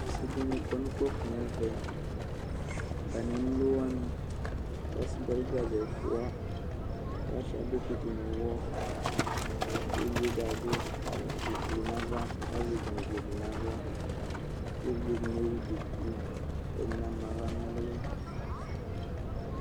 Ɔsidini kɔnʋ ukpafo nʋ ɛvɛ atanʋ emlo wani kʋ ɔsidi alʋ gaze ɛfʋa kʋ asuia bokiti nʋ ʋwɔ kʋ evidzedi abʋ awʋ ʋblʋ nʋ ava kʋ azɛ gangodi nʋ aɣla kʋ evidze dini ewʋ dʋkʋ kʋ ɛdini ama aɣla nʋ ʋli